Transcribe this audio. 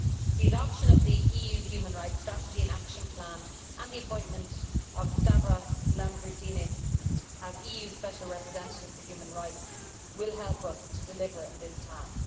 The adoption of the EU human rights strategy and action plan and the appointment of Stavros Lambrinidis as EU Special Representative for Human Rights will help us to deliver on this task.